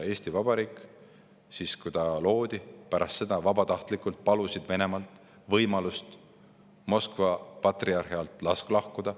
Pärast seda, kui Eesti Vabariik loodi, palusid Venemaalt võimalust Moskva patriarhi alt lahkuda.